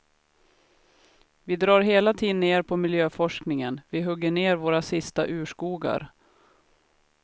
Vi drar hela tiden ner på miljöforskningen, vi hugger ner våra sista urskogar.